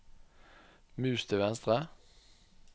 mus til venstre